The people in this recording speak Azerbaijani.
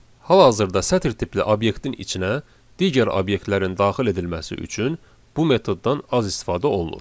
Hal-hazırda sətir tipli obyektin içinə digər obyektlərin daxil edilməsi üçün bu metoddan az istifadə olunur.